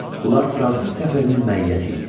Bunlar Fransız səfirinin məiyyəti idi.